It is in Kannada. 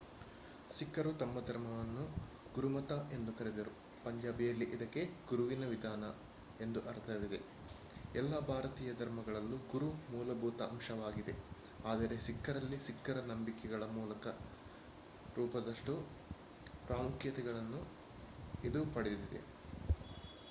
ಸಿಖ್ಖರು ತಮ್ಮ ಧರ್ವಮನ್ನು ಗುರುಮತ ಎಂದು ಕರೆದರು ಪಂಜಾಬಿಯಲ್ಲಿ ಇದಕ್ಕೆ ಗುರುವಿನ ವಿಧಾನ ಎಂದು ಅರ್ಥವಿದೆ ಎಲ್ಲ ಭಾರತೀಯ ಧರ್ಮಗಳಲ್ಲೂ ಗುರು ಮೂಲಭೂತ ಅಂಶವಾಗಿದೆ ಆದರೆ ಸಿಖ್ಖರಲ್ಲಿ ಸಿಖ್ಖರ ನಂಬಿಕೆಗಳ ಮೂಲದ ರೂಪದಷ್ಟು ಪ್ರಾಮುಖ್ಯತೆಯನ್ನು ಇದು ಪಡೆದಿದೆ